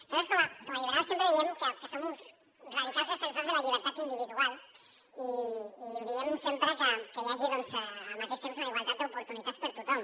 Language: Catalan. nosaltres com a liberals sempre diem que som uns radicals defensors de la llibertat individual i ho diem sempre que hi hagi al mateix temps una igualtat d’oportunitats per a tothom